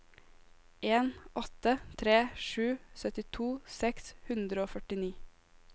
en åtte tre sju syttito seks hundre og førtini